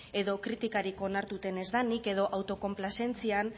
edo kritikarik onartuta ez denik edo autokonplazentzian